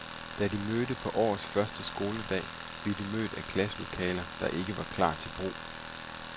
Da de mødte på årets første skoledag, blev de mødt af klasselokaler, der ikke var klar til brug.